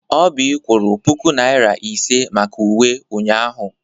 Oby kwụrụ puku Naịra ise maka uwe ụnyahụ.